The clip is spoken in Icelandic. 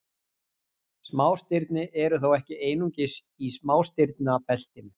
Smástirni eru þó ekki einungis í smástirnabeltinu.